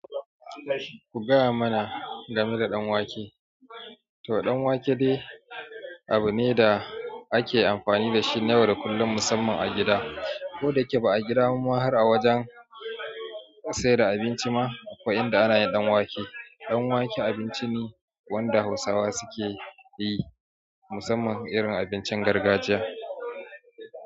Ku gaya mana game da ɗan wake. To ɗan wake dai abu ne da ake amfani da shi na yau da kullum musamman a gida. Ko da yake ba a gida ba ma har a wajen sayar da abinci ma akwai inda ana yin ɗan wake. Ɗan wake abinci ne wanda Hausawa su ke yi musamman irin abincin gargajiya.